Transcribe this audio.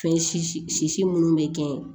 Fɛn si minnu bɛ kɛ yen